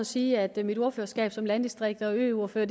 sige at mit ordførerskab som landdistrikts og øordfører